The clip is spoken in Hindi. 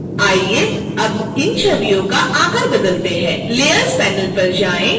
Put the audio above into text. आइए अब इन छवियों का आकार बदलते हैं layers panel पर जाएं